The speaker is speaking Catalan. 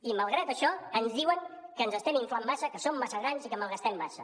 i malgrat això ens diuen que ens estem inflant massa que som massa grans i que malgastem massa